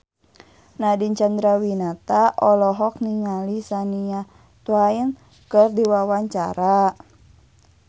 Nadine Chandrawinata olohok ningali Shania Twain keur diwawancara